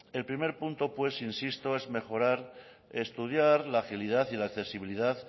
el primer punto pues insisto es mejorar estudiar la agilidad y la accesibilidad